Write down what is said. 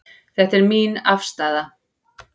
Þetta er mín afstaða.